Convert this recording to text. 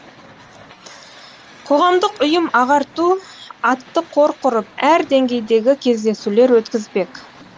қоғамдық ұйым ағарту атты қор құрып әр деңгейдегі кездесулер өткізбек